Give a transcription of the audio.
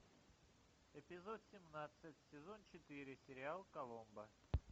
эпизод семнадцать сезон четыре сериал коломбо